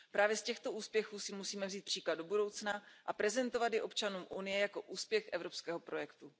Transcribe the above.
Právě z těchto úspěchů si musíme vzít příklad do budoucna a prezentovat je občanům Unie jako úspěch evropského projektu.